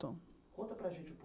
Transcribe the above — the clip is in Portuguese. Conta para a gente um